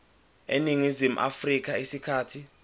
eningizimu afrika isikhathi